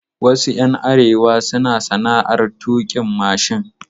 Wasu ƴan arewa suna sana'ar tuƙin mashin.